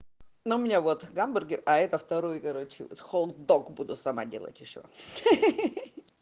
ну у меня вот гамбургер а это второе короче вот хот-дог буду сама делать ещё хе-хе-хе